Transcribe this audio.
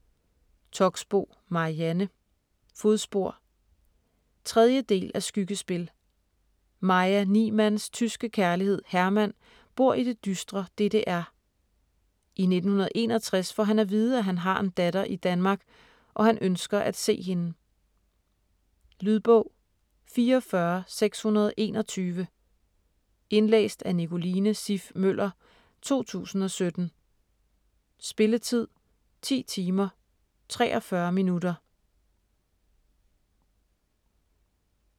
Toxboe, Marianne: Fodspor 3. del af Skyggespil. Maja Niemanns tyske kærlighed Hermann bor i det dystre DDR. I 1961 får han at vide, at han har en datter i Danmark og han ønsker at se hende. Lydbog 44621 Indlæst af Nicoline Siff Møller, 2017. Spilletid: 10 timer, 43 minutter.